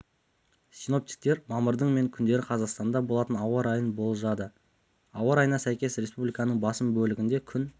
синоптиктер мамырдың мен күндері қазақстанда болатын ауа райын болжады ауа райына сәйкес республиканың басым бөлігінде күн